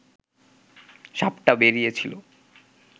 সাপটা বেরিয়েছিল